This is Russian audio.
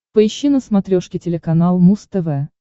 поищи на смотрешке телеканал муз тв